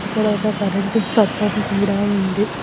ఇక్కడ ఒక కరెంటు స్తంభం కూడా ఉంది.